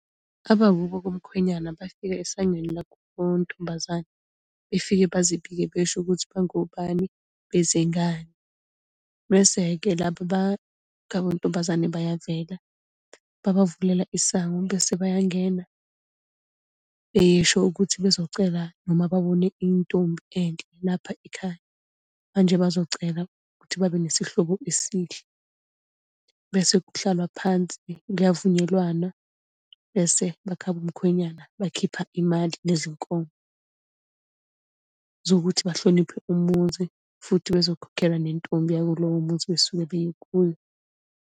Abakubo komkhwenyana bafika esangweni lakubo kontombazane. Befike bazibike besho ukuthi bangobani, bezengani. Bese-ke laba ba khaya bontombazane bayavela. Babavulela isango bese bayangena, besho ukuthi bezocela noma babone intombi enhle lapha ekhaya, manje bazocela ukuthi babe nesihlobo esihle. Bese kuhlalwa phansi, kuyavunyelwana. Bese bakhaya bomkhonyana bakhipha imali, nezinkomo zokuthi bahloniphe umuzi, futhi bezokhokhela nentombi yakulowo muzi abasuke beye kuyo.